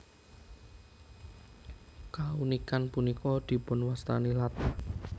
Kaunikan punika dipunwastani latah